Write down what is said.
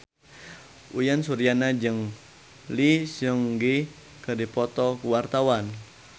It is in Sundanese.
Uyan Suryana jeung Lee Seung Gi keur dipoto ku wartawan